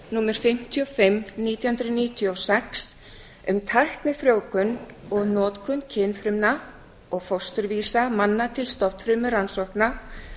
númer fimmtíu og fimm nítján hundruð níutíu og sex um tæknifrjóvgun og notkun kynfrumna og fósturvísa manna til stofnfrumurannsókna